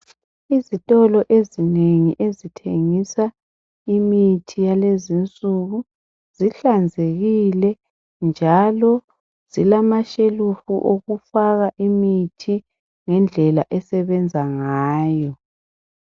Izitolo ezinengi ezithengisa imithi yalezi insuku , zihlanzekile njalo zilamashelufu okufaka imithi ngendlela esebenza ngayo